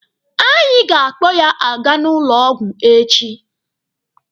Anyị ga-akpọ ya aga n'ụlọ ọgwụ echi.